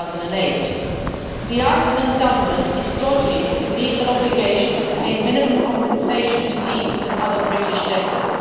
2008. The Icelandic Government is dodging its legal obligation to pay minimum compensation to these and other British debtors.